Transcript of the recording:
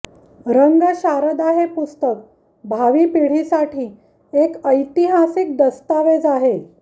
रंगशारदा हे पुस्तक भावी पिढीसाठी एक ऐतिहासिक दस्तावेज आहे